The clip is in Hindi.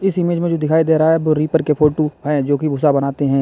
इस इमेज जो दिखाई दे रहा है वह रीपर के फोटू है जोकि भूसा बनाते हैं।